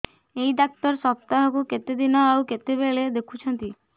ଏଇ ଡ଼ାକ୍ତର ସପ୍ତାହକୁ କେତେଦିନ ଆଉ କେତେବେଳେ ଦେଖୁଛନ୍ତି